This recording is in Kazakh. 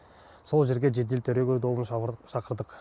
сол жерге жедел төрегеу тобын шақырдық